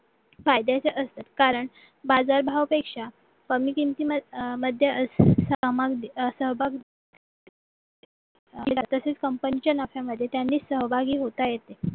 फायद्याचे असतात कारण बाजारभाव पेक्षा कमी किमतीमध्ये असते सहभाग तसेच company च्या नफ्यामध्ये त्यांनी सहभागी होता येत